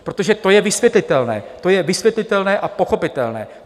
Protože to je vysvětlitelné, to je vysvětlitelné a pochopitelné.